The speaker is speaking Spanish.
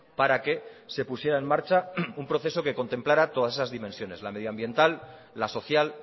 para que se pusiera en marcha un proceso que contemplara todas esas dimensiones la medioambiental la social